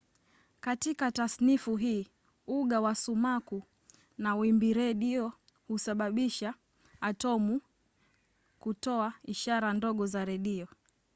katika tasnifu hii uga wa sumaku na wimbiredio husababisha atomi kutoa ishara ndogo za redio